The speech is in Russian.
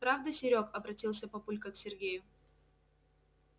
правда серёг обратился папулька к сергею